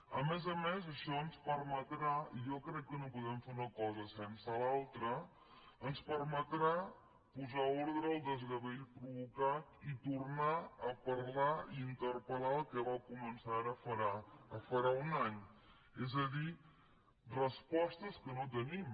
a més a més això ens permetrà jo crec que no podem fer una cosa sense l’altra posar ordre al desgavell provocat i tornar a parlar i interpel·lar el que va començar ara farà un any és a dir respostes que no tenim